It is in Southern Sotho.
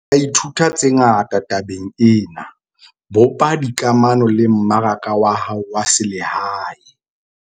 Re ka ithuta tse ngata tabeng ena - bopa dikamano le mmaraka wa hao wa selehae.